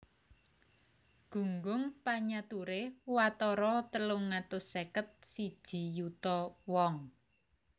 Gunggung panyaturé watara telung atus seket siji yuta wong